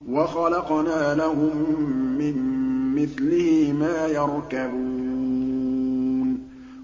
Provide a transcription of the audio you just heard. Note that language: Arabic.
وَخَلَقْنَا لَهُم مِّن مِّثْلِهِ مَا يَرْكَبُونَ